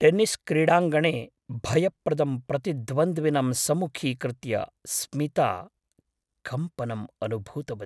Tennis क्रीडाङ्गणे भयप्रदं प्रतिद्वन्द्विनं सम्मुखीकृत्य स्मिता कम्पनम् अनुभूतवती।